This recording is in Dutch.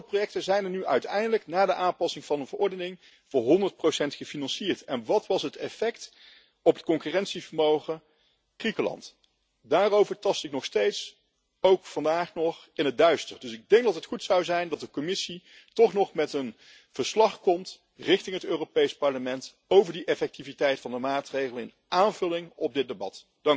Bijvoorbeeld welke projecten zijn nu uiteindelijk na de aanpassing van de verordening voor honderd procent gefinancierd en wat was het effect op het concurrentievermogen van Griekenland? Daarover tast ik nog steeds, ook vandaag nog, in het duister. Ik denk dus dat het goed zou zijn als de Commissie toch nog met een verslag aan het Europees Parlement komt, over die effectiviteit van de maatregelen, in aanvulling op dit debat.